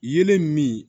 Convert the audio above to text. Yelen min